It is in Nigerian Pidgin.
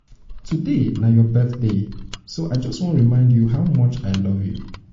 today na your birthday so i just wan remind you how much i love much i love you.